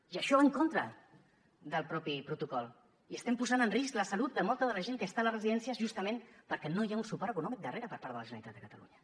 i això va en contra del mateix protocol i estem posant en risc la salut de molta de la gent que està a les residències justament perquè no hi ha un suport econòmic darrere per part de la generalitat de catalunya